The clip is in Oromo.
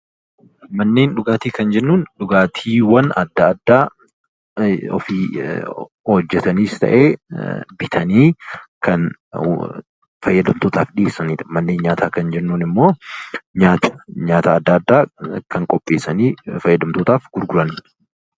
Manneen dhugaatii kan jennuun dhugaatiiwwan adda addaa ofii hojjetaniis ta'e bitanii kan fayyadamtootaaf dhiyeessanidha. Manneen nyaataa kan jennuun immoo nyaata adda addaa kan qopheessanii fayyadamtootaaf gurguranidha.